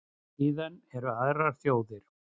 Síðan eru aðrar þjóðir.